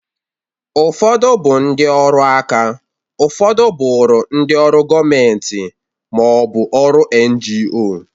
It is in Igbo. Ụfọdụ bụ ndị ọrụ aka, ụfọdụ bụrụ ndị ọrụ gọmenti ma ọ bụ ọrụ ngo.